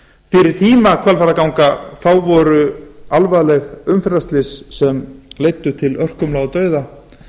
fyrir tíma hvalfjarðarganga voru alvarleg umferðarslys sem leiddu til örkumla og dauða